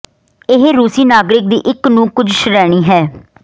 ਇਹ ਰੂਸੀ ਨਾਗਰਿਕ ਦੀ ਇੱਕ ਨੂੰ ਕੁਝ ਸ਼੍ਰੇਣੀ ਹੈ